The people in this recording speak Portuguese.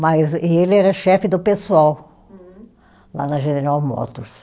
Mas e ele era chefe do pessoal. Hum. Lá na General Motors.